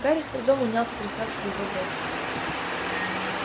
гарри с трудом унял сотрясавшую его дрожь